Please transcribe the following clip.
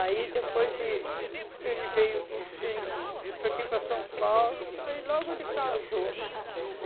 Aí depois de ele veio ele para aqui para São Paulo aí logo ele casou.